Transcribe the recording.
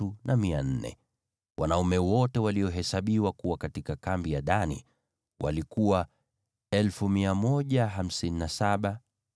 Wanaume wote walio katika kambi ya Dani ni 157,600. Wao watakuwa wa mwisho kuondoka chini ya alama yao.